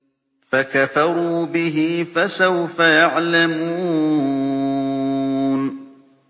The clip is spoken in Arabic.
فَكَفَرُوا بِهِ ۖ فَسَوْفَ يَعْلَمُونَ